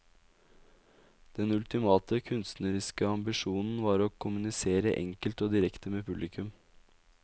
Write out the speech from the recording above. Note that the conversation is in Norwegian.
Den ultimative, kunstneriske ambisjonen var å kommunisere enkelt og direkte med publikum.